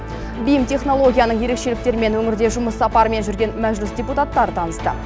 бим технологияның ерекшеліктерімен өңірде жұмыс сапарымен жүрген мәжіліс депутаттары танысты